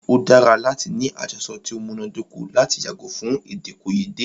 O dára láti ní àjọsọ ti o múná dóko lati yàgò fún èdèkòyédè.